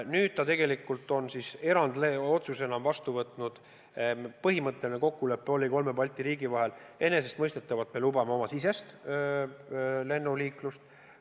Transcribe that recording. Nüüd ta on erandotsuse vastu võtnud, on põhimõtteline kokkulepe kolme Balti riigi vahel: enesestmõistetavalt me lubame Baltikumi-sisest lennuliiklust.